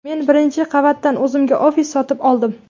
Men birinchi qavatdan o‘zimga ofis sotib oldim.